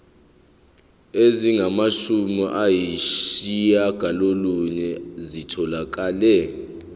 ezingamashumi ayishiyagalolunye zitholakele